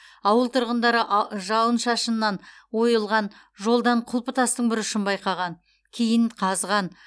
ауыл тұрғындары жауын шашыннан ойылған жолдан құлпытастың бір ұшын байқаған кейін қазған